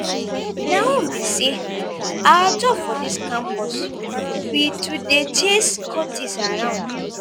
my own be say our job for dis campus be to dey chase cultists around.